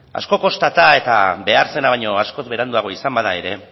asko kostata eta behar zena baino askoz ere beranduago izan bada ere